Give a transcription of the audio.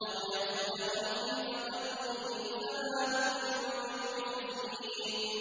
أَوْ يَأْخُذَهُمْ فِي تَقَلُّبِهِمْ فَمَا هُم بِمُعْجِزِينَ